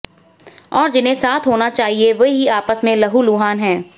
और जिन्हें साथ होना चाहिए वे ही आपस में लहूलुहान है